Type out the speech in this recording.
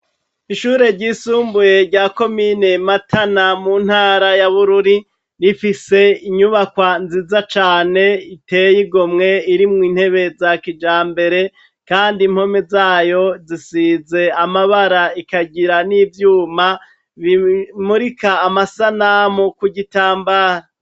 Ishure ryisumbuye rya komine Matana mu ntara ya Bururi rifise inyubakwa nziza cane ziteye igomwe, ririmwo intebe za kijambere, kandi impome zayo zisize amabara rikagira n'ivyuma bimurika amasanamu ku gutangara.